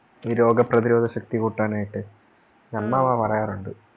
ഈ രോഗപ്രതിരോധ ശക്തി കുട്ടനായിട്ടു അമ്മാമ പറയാറുണ്ട്